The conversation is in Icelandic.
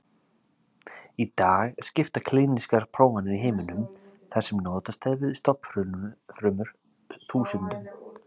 Í dag skipta klínískar prófanir í heiminum, þar sem notast er við stofnfrumur, þúsundum.